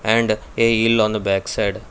and a ill on the backside.